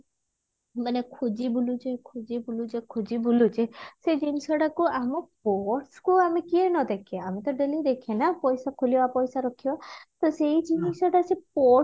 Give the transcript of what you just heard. ମାନେ ଖୁଜି ବୁଲୁଛି ଖୁଜି ବୁଲୁଛ ଖୁଜି ବୁଲୁଛି ସେ ଜିନିଷଟାକୁ ଆମ purse କୁ ଆମେ କିଏ ନଦେଖେ ଆମେ ତ daily ଦେଖେ ନା ପଇସା ଖୁଲିବା ପଇସା ରଖିବା ତ ସେଇ ଜିନିଷଟା ସେ purse